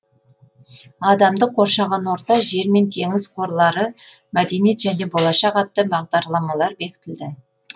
адамды қоршаған орта жер мен теңіз қорлары мәдениет және болашақ атты бағдарламалар бекітілді